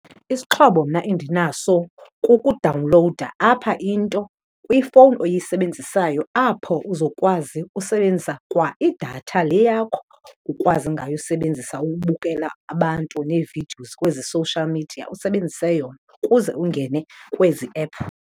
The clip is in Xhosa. Isixhobo mna endinaso kukudawunlowuda apha into kwifowuni oyisebenzisayo apho uzokwazi usebenzisa kwa idatha le yakho ukwazi ngayo usebenzisa ubukela abantu nee-videos kwezi-social media usebenzise yona, kuze ungene kwezi app.